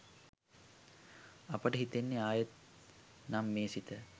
අපට හිතෙන්නෙ ආයෙත් නම් මේ සිත